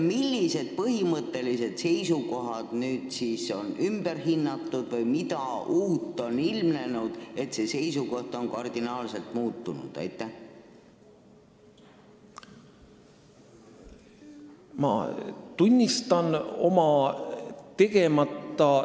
Millised põhimõttelised seisukohad on nüüd ümber hinnatud või mida uut on ilmnenud, et see seisukoht on kardinaalselt muutunud?